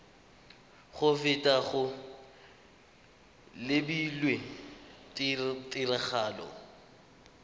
go feta go lebilwe tiragatso